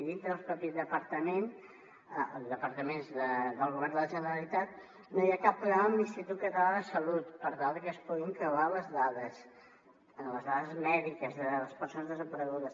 dintre del propi departament o dels departaments del govern de la generalitat no hi ha cap programa amb l’institut català de la salut per tal de que es puguin creuar les dades les dades mèdiques de les persones desaparegudes